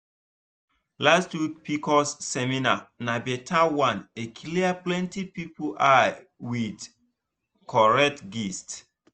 last week pcos seminar na better one e clear plenty people eye with correct gist.